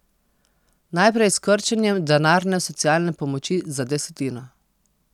Najprej s krčenjem denarne socialne pomoči za desetino.